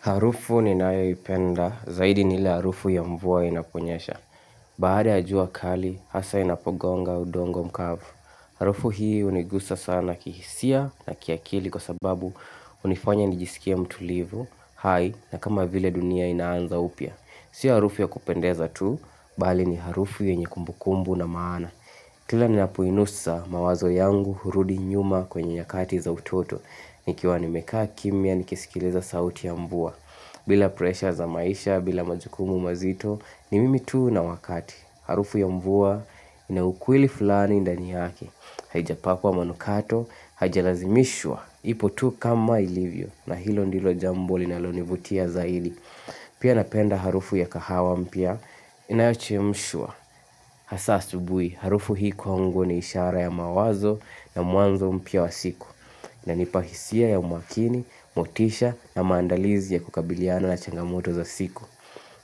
Harufu ninayoipenda, zaidi ni ile harufu ya mvua inaponyesha. Baada ya jua kali, hasa inapogonga udongo mkavu. Harufu hii unigusa sana kihisia na kiakili kwa sababu hunifanya nijisikie mtulivu. Hai, ni kama vile dunia inaanza upya. Sio harufu ya kupendeza tu, bali ni harufu yenye kumbukumbu na maana. Kila ninapoinusa mawazo yangu hurudi nyuma kwenye nyakati za utoto. Nikiwa nimekaa kimya, nikisikiliza sauti ya mvua. Bila presha za maisha, bila majukumu mazito, ni mimi tu na wakati. Harufu ya mvua, ina ukweli fulani ndani yake Haijapakwa manukato, haijalazimishwa. Ipo tu kama ilivyo, na hilo ndilo jambo linalonivutia zaidi. Pia napenda harufu ya kahawa mpya, inayochemshwa. Hasa asubuhi, harufu hii kwangu ni ishara ya mawazo na mwanzo mpya wa siku. Inanipa hisia ya umakini, motisha na maandalizi ya kukabiliana na changamoto za siku.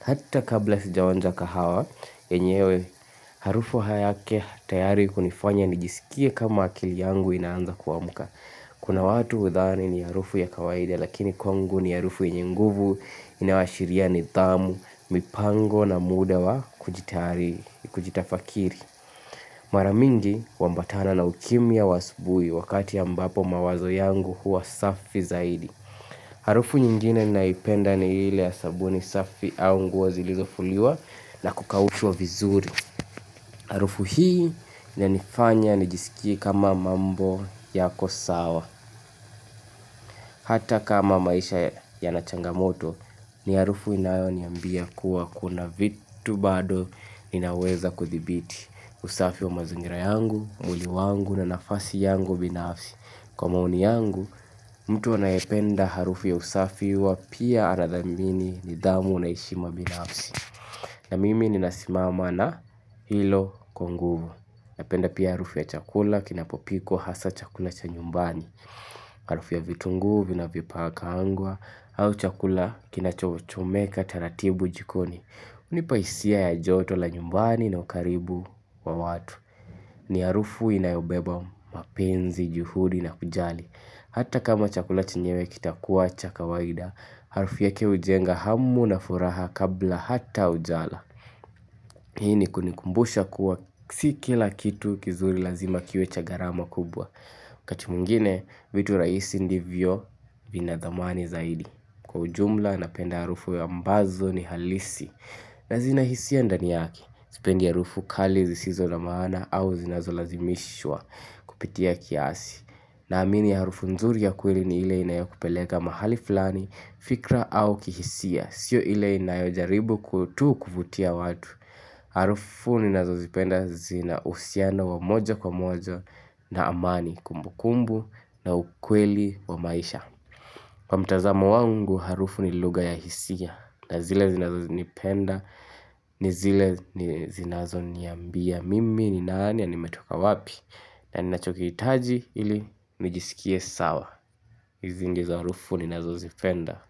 Hata kabla sijaonja kahawa, enyewe harufu yake tayari hunifanya nijisikie kama akili yangu inaanza kuamka. Kuna watu hudhani ni harufu ya kawaida, lakini kwangu ni harufu yenye nguvu, inayoashiria nidhamu, mipango na muda wa kujitafakiri. Mara mingi huambatana na ukimya wa asubuhi wakati ya ambapo mawazo yangu huwa safi zaidi. Harufu nyingine naipenda ni ile ya sabuni safi au nguo zilizofuliwa na kukaushwa vizuri. Harufu hii inanifanya nijisikie kama mambo yako sawa. Hata kama maisha yana changamoto ni harufu inayo niambia kuwa kuna vitu bado inaweza kuthibiti. Usafi wa mazingira yangu, mwili wangu na nafasi yangu binafsi. Kwa maoni yangu, mtu anayependa harufu ya usafi huwa pia anadhamini nidhamu na heshima binafsi. Na mimi ninasimama na hilo kwa nguvu. Napenda pia harufu ya chakula kinapopikwa hasa chakula cha nyumbani. Harufu ya vitungu vinavyokaangwa au chakula kinachochomeka taratibu jikoni. Hunipa hisia ya joto la nyumbani na ukaribu wa watu ni harufu inayobeba mapenzi, juhudi na kujali Hata kama chakula chenyewe kitakuwa cha kawaida Harufu ya kujenga hamu na furaha kabla hata haujala Hii ni kunikumbusha kuwa si kila kitu kizuri lazima kiwe cha gharama kubwa wakati mwingine, vitu rahisi ndivyo vina dhamani zaidi Kwa ujumla napenda harufu ambazo ni halisi na zina hisia ndani yake sipendi harufu kali zisizo na maana au zinazolazimishwa kupitia kiasi. Naamini harufu nzuri ya kweli ni ile inayokupeleka mahali fulani, fikra au kihisia, sio ile inayojaribu tu kuvutia watu. Harufu ninazozipenda zina uhusiano wa moja kwa moja na amani kumbukumbu na ukweli wa maisha. Kwa mtazamo wangu harufu ni lugha ya hisia na zile zinazo zinipenda ni zile zinazo niambia mimi ni nani ya nimetoka wapi na ninachokihitaji ili nijisikie sawa zingi za harufu ninazozipenda.